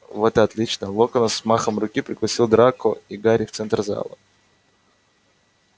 вот и отлично локонс взмахом руки пригласил драко и гарри в центр зала